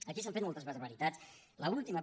aquí s’han fet moltes barbaritats l’última